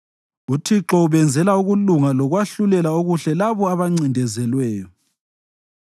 UThixo ubenzela ukulunga lokwahlulela okuhle labo abancindezelweyo.